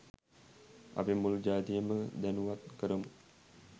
අපි මුලු ජාතියම දැනුවත් කරමු